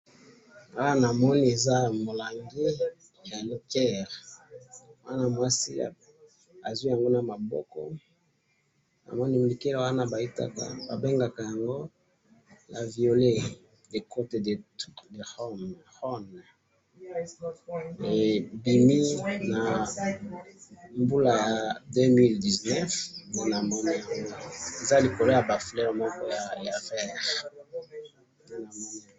awa na moni eza mulangi ya liqueur mwana mwasi azuwi yango na maboko ba benga yango "cotes du rhome " e bimina mbula ya 2019 nde na moni yango eza likolo moko yaba fleurs ya vert